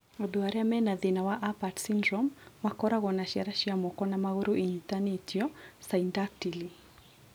Andũ arĩa mena thĩna wa Apert syndrome nĩmakoragwo na ciara cia moko na magũrũ inyitanĩtio (syndactyly).